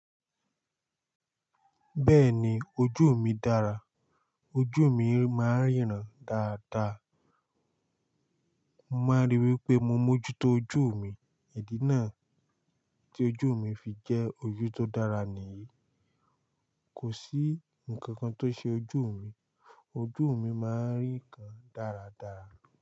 Bẹ́ẹ̀ni ojú mi dára, ojú mi máa ń ríran dáadáa. Mo máa ríi wípé mo mójú tó ojú mi, ìdí náà tí ojú mi fi jẹ́ ojú tó dára nìyí. Kò sí ǹkan kan tó ṣe ojú mi. Ojú mi máa ń rí ǹkan dáradára.